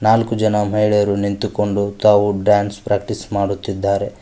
ನಾಲ್ಕು ಜನ ಮಹಿಳೆಯರು ನಿಂತುಕೊಂಡು ತಾವು ಡ್ಯಾನ್ಸ್ ಪ್ರಾಕ್ಟೀಸ್ ಮಾಡುತ್ತಿದ್ದಾರೆ.